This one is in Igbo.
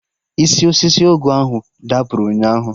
Isi osisi ọgụ ahụ dapụrụ ụnyaahụ